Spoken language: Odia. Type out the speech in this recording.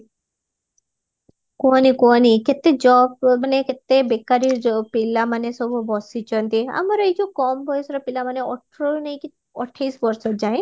କୁହନି କୁହାନି କେତେ ଯ ମାନେ ବେକାରୀ ଯୋଉ ପିଲା ମାନେ ସବୁ ବସିଚନ୍ତି ଆମର ଏଇ ଯୋଉ କମ ବୟସର ପିଲା ମାନେ ଅଠରରୁ ନେଇକି ଅଠେଇଶି ବର୍ଷ ଯାଏ